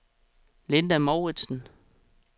Linda Mouritzen